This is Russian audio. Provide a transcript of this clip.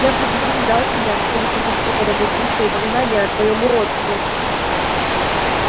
я предупреждал тебя что не потерплю под этой крышей упоминания о твоём уродстве